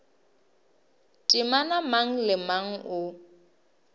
temana mang le mang o